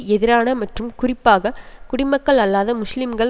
எதிரான மற்றும் குறிப்பாக குடிமக்கள் அல்லாத முஸ்லிம்கள்